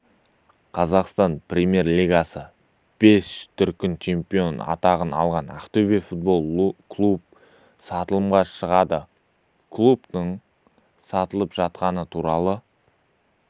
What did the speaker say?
қазақстан премьер лигасының бес дүркін чемпионы атанған ақтөбе футбол клубы сатылымға шығарылды клубтың сатылып жатқаны туралы